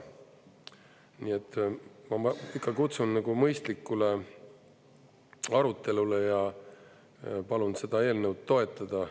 Nii et ma ikka kutsun mõistlikule arutelule ja palun seda eelnõu toetada.